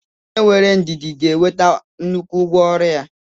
onye nwere ndidi ga-enweta nnukwu ụgwọ ọrụ